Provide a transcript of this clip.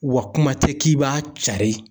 Wa kuma tɛ k'i b'a cari